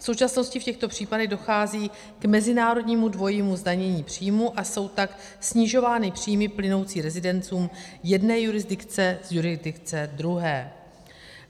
V současnosti v těchto případech dochází k mezinárodnímu dvojímu zdanění příjmů, a jsou tak snižovány příjmy plynoucí rezidentům jedné jurisdikce z jurisdikce druhé.